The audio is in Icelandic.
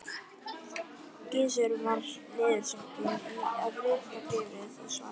Gizur var niðursokkinn í að rita bréfið og svaraði ekki.